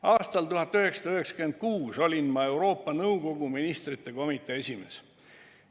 Aastal 1996 olin ma Euroopa Nõukogu ministrite komitee esimees.